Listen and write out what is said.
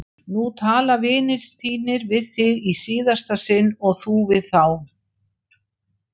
Nú tala vinir þínir við þig í síðasta sinn og þú við þá!